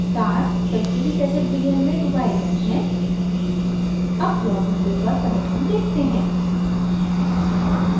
तार sulphuric acid विलयन में डुबाए गए हैं अब plot window पर परिणाम देखते हैं